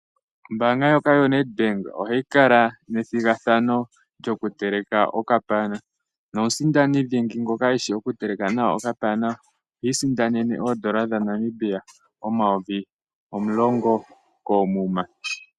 Ombaanga ndjoka yoNedbank ohayi kala nethigathano lyokuteleka okapana, nomusindani dhingi ngoka e shi oku teleka nawa okapana ohi isindanene oodola dhaNamibia omayovi omulongo koomuma.